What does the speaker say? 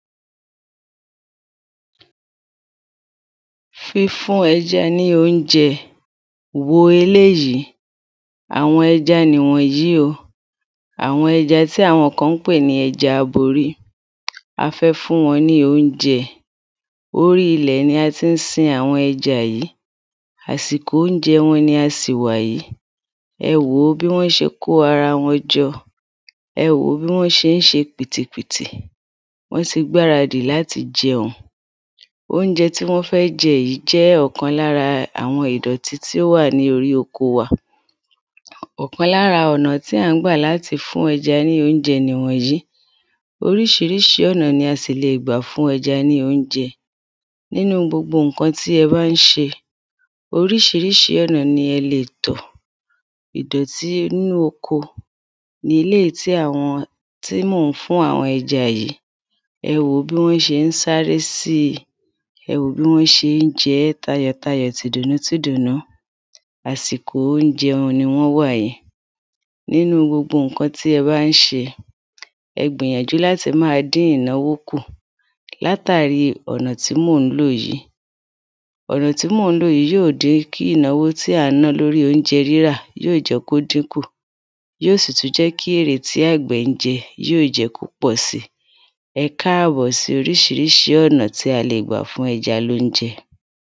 Fífún ẹja ní óunjẹ Wò eléyìí Àwọn ẹja nì wònyí o àwọn ẹja tí àwọn kan ń pè ní ẹja aborí a fẹ́ fún wọn ní óunjẹ orí ilẹ̀ ni a tí ń si àwọn ẹja yìí àsìkò óunjẹ ni a sì wàyí ewò bí wọ́n ṣe kó ara wọn jọ ewò bí wọ́n ṣe ń ṣe pìtìpìtì wọ́n ti gbáradì láti jẹun óunjẹ tí wọ́n fé jẹ yí jẹ ọkan lára àwọn ìdọ̀tí tí ó wà ní orí oko wa ọkan lára ọ̀nà tí à ń gbà láti fún ẹja ní óunjẹ nì wọ̀nyí oríṣiríṣi ọ̀nà ni a sì lè gbà fún ẹja ní óunjẹ nínu gbogbo ǹkan tí ẹ bá ń ṣe oríṣiríṣi ọ̀nà ni ẹ lè tọ̀ ìdọ̀tí inú oko ni eléyí tí mọ̀ ń fún àwọn ẹja wọ̀nyí ewò bí wọ́n ṣe ń sáré sí ewò bí wọ́n ṣe ń jẹ́ tayọ̀tarọ̀ tìdùnú tìdùnú àsìkò óunjẹ wọn ni wọ́n wà yí nínu gbogbo ǹkan tí ẹ bá ń ṣe ẹ gbìyànjú láti máa dín ìnáwó kù látàrí ọ̀nà tí mò ń lò yí ọ̀nà tí mò ń lò yí yí ò dín kí ìnáwó tí à ń ná lórí óunjẹ rírà yí ò jẹ́ kó dínkù yí ò sì tú jẹ́ kí erè tí àgbẹ̀ ń jẹ yí ò sì tú jẹ́ kí erè tí àgbẹ̀ ń jẹ ẹkáàbò sí oríṣiríṣi ọ̀na tí a lè gbà fún ẹja lóunjẹ